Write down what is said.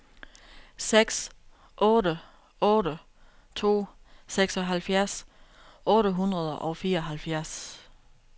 seks otte otte to seksoghalvfjerds otte hundrede og fireoghalvfjerds